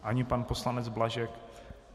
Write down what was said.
Ani pan poslanec Blažek?